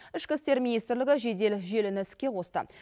ішкі істер министрлігі жедел желіні іске қосты